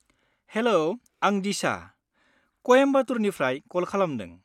हेल'! आं डिशा, कयेम्बटुरनिफ्राय कल खालामदों।